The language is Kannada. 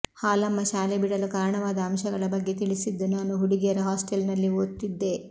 ಹಾಲಮ್ಮ ಶಾಲೆ ಬಿಡಲು ಕಾರಣವಾದ ಅಂಶಗಳ ಬಗ್ಗೆ ತಿಳಿಸಿದ್ದು ನಾನು ಹುಡುಗಿಯರ ಹಾಸ್ಟೆಲ್ನಲ್ಲಿ ಓದ್ತಿದ್ದೆ